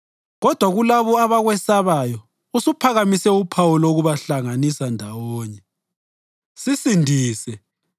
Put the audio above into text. Kodwa kulabo abakwesabayo usuphakamise uphawu lokubahlanganisa ndawonye.